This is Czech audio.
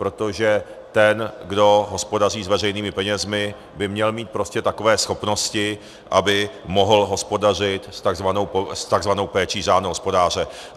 Protože ten, kdo hospodaří s veřejnými penězi, by měl mít prostě takové schopnosti, aby mohl hospodařit s takzvanou péčí řádného hospodáře.